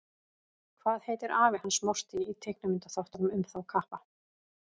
Hvað heitir afi hans Morty í teiknimyndaþáttunum um þá kappa?